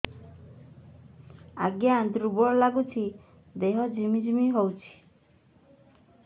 ଆଜ୍ଞା ଦୁର୍ବଳ ଲାଗୁଚି ଦେହ ଝିମଝିମ ହଉଛି